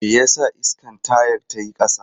Me yasa iskan tayar ta yi ƙasa?